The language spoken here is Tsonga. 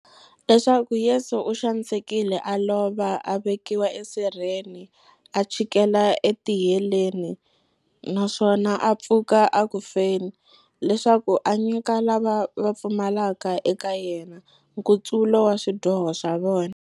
Leswaku Yesu u xanisekile, a lova, a vekiwa esirheni, a chikela etiheleni, naswona a pfuka eku feni, leswaku a nyika lava va pfumelaka eka yena, nkutsulo wa swidyoho swa vona.